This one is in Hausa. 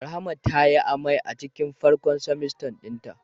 Rahma tayi amai a cikin farkon trimester dinta.